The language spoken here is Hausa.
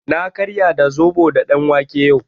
Na karya da zaɓo da ɗanwake yau.